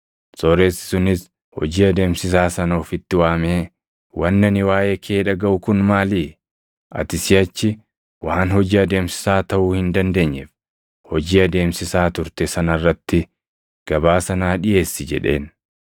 Sooressi sunis hojii adeemsisaa sana ofitti waamee, ‘Wanni ani waaʼee kee dhagaʼu kun maalii? Ati siʼachi waan hojii adeemsisaa taʼuu hin dandeenyeef, hojii adeemsisaa turte sana irratti gabaasa naa dhiʼeessi’ jedheen.